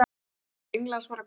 Til Englands, var okkur sagt.